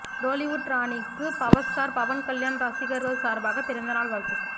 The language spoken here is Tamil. டோலிவுட் ராணிக்கு பவர்ஸ்டார் பவன் கல்யாண் ரசிகர்கள் சார்பாக பிறந்தநாள் வாழ்த்துக்கள்